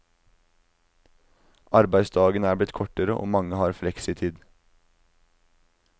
Arbeidsdagen er blitt kortere, og mange har fleksitid.